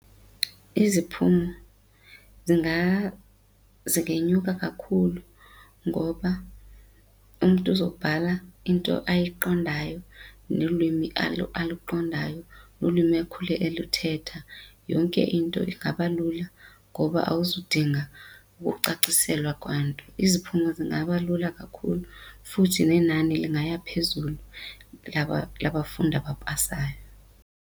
Iziphumo zingenyuka kakhulu ngoba umntu uzobhala into ayiqondayo nelwimi aluqondayo nlwimi ekhule eluthetha. Yonke into ingaba lula ngoba awuzudinga ukucaciselwa kwanto, iziphumo zingaba lula kakhulu futhi nenani lingaya phezulu labafundi abapasayo.